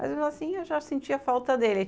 Mas assim, eu já sentia falta dele.